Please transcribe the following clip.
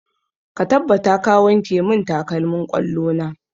Ka tabbata ka wanke mun takalmin ƙwallo na!